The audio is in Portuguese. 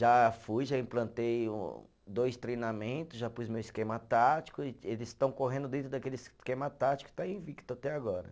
Já fui, já implantei um, dois treinamentos, já pus meu esquema tático, e eles estão correndo dentro daquele esquema tático e está aí invicto até agora.